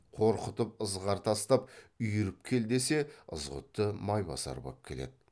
қорқытып ызғар тастап үйіріп кел десе ызғұтты майбасар боп келеді